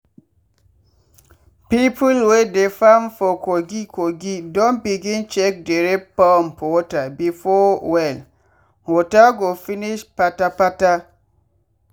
people wey dey farm for kogi kogi don begin check dere pump water before well water go finish pata pata.